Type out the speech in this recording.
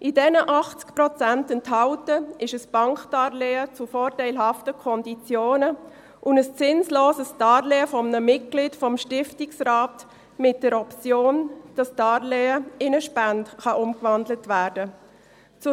In diesen 80 Prozent enthalten ist ein Bankdarlehen zu vorteilhaften Konditionen und ein zinsloses Darlehen eines Mitglieds des Stiftungsrats mit der Option, dass das Darlehen in eine Spende umgewandelt werden kann.